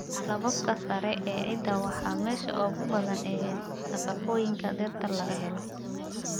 Lakabka sare ee ciidda waa meesha ugu badan ee nafaqooyinka dhirta laga helo.